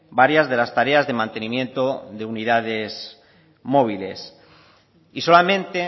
varias de las tareas de mantenimiento de unidades móviles y solamente